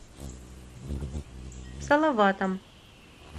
салаватом